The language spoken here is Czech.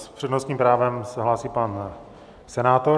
S přednostním právem se hlásí pan senátor.